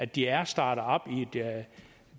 de er startet op i et